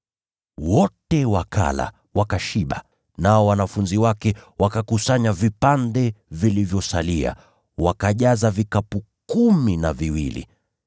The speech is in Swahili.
Wote wakala, wakashiba. Nao wanafunzi wakakusanya vipande vilivyosalia, wakajaza vikapu kumi na viwili.